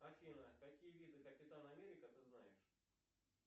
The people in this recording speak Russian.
афина какие виды капитан америка ты знаешь